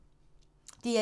DR1